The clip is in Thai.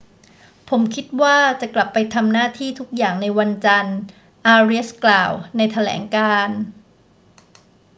ผมคิดว่าจะกลับไปทำหน้าที่ทุกอย่างในวันจันทร์ อาเรียสกล่าวในแถลงการณ์